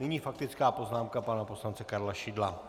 Nyní faktická poznámka pana poslance Karla Šidla.